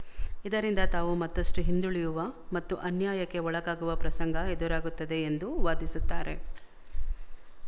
ಇದರಿಂದ ತಾವು ಮತ್ತಷ್ಟು ಹಿಂದುಳಿಯುವ ಮತ್ತು ಅನ್ಯಾಯಕ್ಕೆ ಒಳಗಾಗುವ ಪ್ರಸಂಗ ಎದುರಾಗುತ್ತದೆ ಎಂದು ವಾದಿಸುತ್ತಾರೆ